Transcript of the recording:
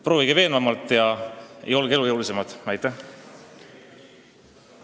Proovige veenvamalt ja olge elujõulisemad!